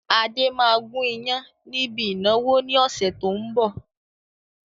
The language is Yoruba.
Adé máa gun ìyàn níbi ìnáwó ni ọ̀sẹ̀ tó ń bọ̀.